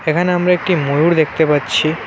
এখানে আমরা একটি ময়ূর দেখতে পাচ্ছি।